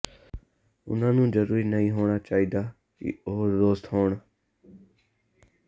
ਉਨ੍ਹਾਂ ਨੂੰ ਜ਼ਰੂਰੀ ਨਹੀਂ ਹੋਣਾ ਚਾਹੀਦਾ ਕਿ ਉਹ ਦੋਸਤ ਹੋਣ